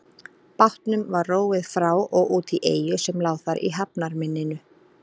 Bátnum var róið frá og út í eyju sem lá þar í hafnarmynninu.